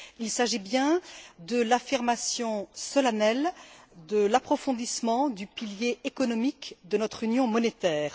Il s'agit bien de l'affirmation solennelle de l'approfondissement du pilier économique de notre Union monétaire.